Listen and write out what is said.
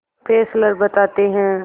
Fessler बताते हैं